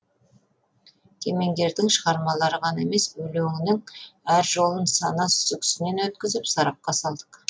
кемеңгердің шығармалары ғана емес өлеңінің әр жолын сана сүзгісінен өткізіп сарапқа салдық